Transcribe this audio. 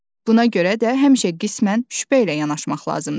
Buna görə də həmişə qismən şübhə ilə yanaşmaq lazımdır.